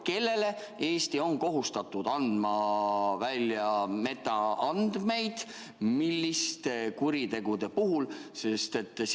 Kellele Eesti on kohustatud andma välja metaandmeid ja milliste kuritegude puhul?